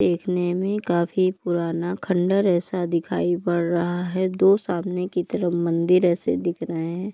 देखने में काफी पुराना खंडर ऐसा दिखाई पड़ रहा है दो सामने की तरफ मंदिर ऐसे दिख रहे हैं।